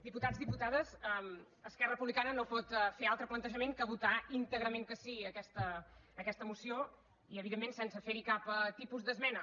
diputats diputades esquerra republicana no pot fer altre plantejament que votar íntegrament que sí a aquesta moció i evidentment sense fer hi cap tipus d’esmena